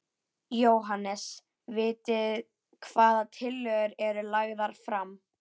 Jóhannes: Vitið hvaða tillögur eru lagðar fram?